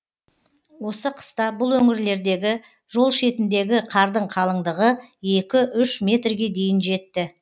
осы қыста бұл өңірлердегі жол шетіндегі қардың қалыңдығы екі үш метрге дейін жетті